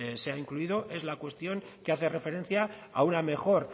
sea incluido es la cuestión que hace referencia a una mejor